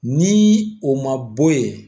Ni o ma bɔ ye